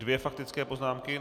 Dvě faktické poznámky.